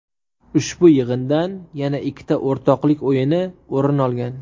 Ushbu yig‘indan yana ikkita o‘rtoqlik o‘yini o‘rin olgan.